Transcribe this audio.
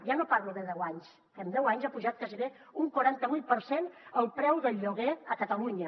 ja no parlo de deu anys que en deu anys ha pujat gairebé un quaranta vuit per cent el preu del lloguer a catalunya